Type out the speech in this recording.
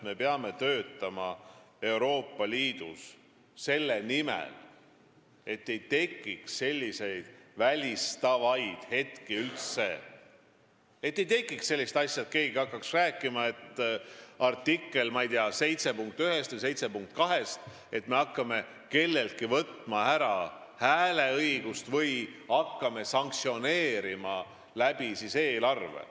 Me peame Euroopa Liidus töötama selle nimel, et selliseid välistavaid asju üldse ei tekiks, et keegi ei hakkaks rääkima artikli 7 punktist 1 või 2, mis tähendaks, et me hakkame kelleltki hääleõigust ära võtma või kellegi suhtes eelarve kaudu sanktsioone rakendama.